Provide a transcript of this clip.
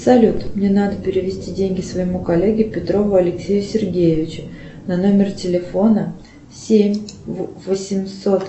салют мне надо перевести деньги своему коллеге петрову алексею сергеевичу на номер телефона семь восемьсот